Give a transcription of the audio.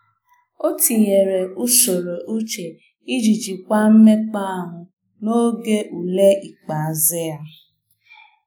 O tinyere usoro uche iji jikwaa mmekp'ahu n'oge ule ikpeazụ ya.